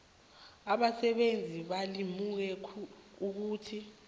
abasebenzi balimuke ukuthi